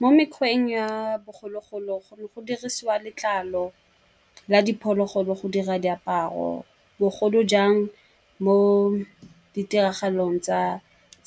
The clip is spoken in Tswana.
Mo mekgweng ya bogologolo go dirisiwa letlalo la diphologolo go dira diaparo, bogolo jang mo ditiragalong tsa